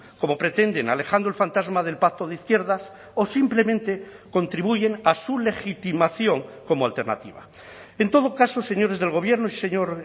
como pretenden alejando el fantasma del pacto de izquierdas o simplemente contribuyen a su legitimación como alternativa en todo caso señores del gobierno señor